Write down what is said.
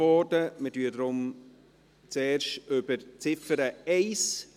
Wir stimmen deshalb zuerst über die Ziffer 1 ab.